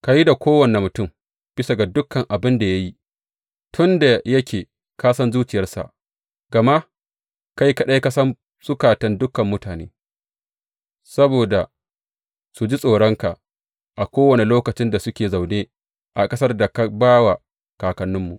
Ka yi da kowane mutum bisa ga dukan abin da ya yi, tun da yake ka san zuciyarsa gama kai kaɗai ka san zukatan dukan mutane, saboda su ji tsoronka a kowane lokacin da suke zaune a ƙasar da ka ba wa kakanninmu.